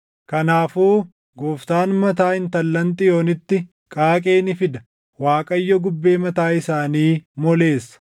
Kanaafuu Gooftaan mataa intallan Xiyoonitti qaaqee ni fida; Waaqayyo gubbee mataa isaanii moleessa.”